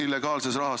Palun küsimust!